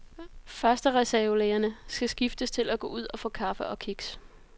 Førstereservelægerne skiftes til at gå ud og få kaffe og kiks.